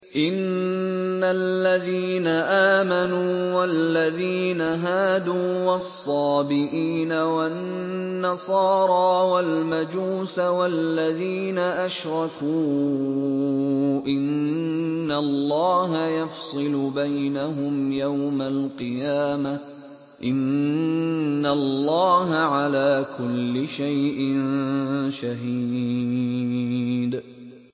إِنَّ الَّذِينَ آمَنُوا وَالَّذِينَ هَادُوا وَالصَّابِئِينَ وَالنَّصَارَىٰ وَالْمَجُوسَ وَالَّذِينَ أَشْرَكُوا إِنَّ اللَّهَ يَفْصِلُ بَيْنَهُمْ يَوْمَ الْقِيَامَةِ ۚ إِنَّ اللَّهَ عَلَىٰ كُلِّ شَيْءٍ شَهِيدٌ